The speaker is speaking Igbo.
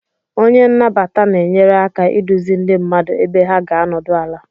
Onye nnabata na-enyere aka iduzi ndị mmadụ ebe ha ga-anọdụ ala.